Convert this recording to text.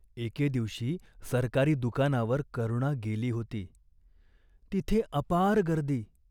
एके दिवशी सरकारी दुकानावर करुणा गेली होती. तिथे अपार गर्दी.